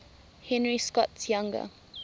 henry scott's younger